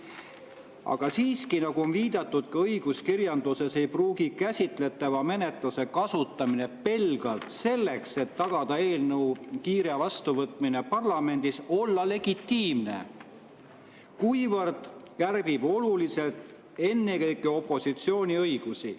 Aga siiski, nagu on viidatud ka õiguskirjanduses, ei pruugi käsitletava menetluse kasutamine pelgalt selleks, et tagada eelnõu kiire vastuvõtmine parlamendis, olla legitiimne, kuivõrd see kärbib oluliselt ennekõike opositsiooni õigusi.